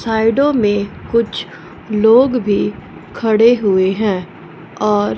साइडो में कुछ लोग भी खड़े हुए हैं और--